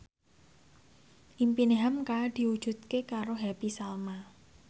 impine hamka diwujudke karo Happy Salma